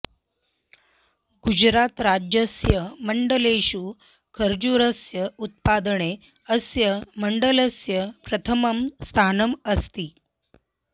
गुजरातराज्यस्य मण्डलेषु खर्जूरस्य उत्पादने अस्य मण्डलस्य प्रथमं स्थानम् अस्ति